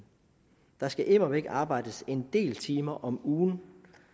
der skal immer væk arbejdes en del timer om ugen